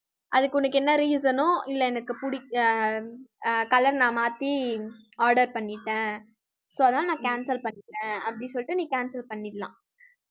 அதுக்கு, உனக்கு என்ன reason ஓ இல்ல எனக்கு அஹ் அஹ் color நான் மாத்தி order பண்ணிட்டேன் so அதனால நான் cancel பண்ணிட்டேன். அப்படி சொல்லிட்டு, நீ cancel பண்ணிடலாம்